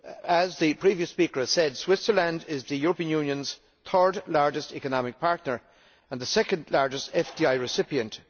As the previous speaker has said, Switzerland is the European's Union's third largest economic partner and the second largest FDI recipient.